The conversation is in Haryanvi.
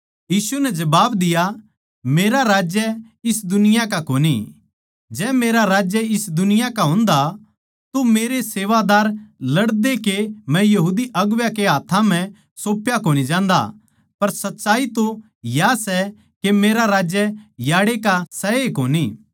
यीशु नै जबाब दिया मेरा राज्य इस दुनिया का कोनी जै मेरा राज्य इस दुनिया का होंदा तो मेरे सेवादार लड़दे के मै यहूदी अगुवां कै हाथ्थां सोंप्या कोनी जांदा पर सच्चाई तो या सै के मेरा राज्य आड़ै का सै ए कोनी